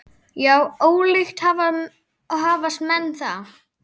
Já, ólíkt hafast menn að.